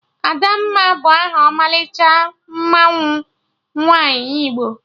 Adamma bụ aha ọmalịcha mmanwụ nwaanyị Igbo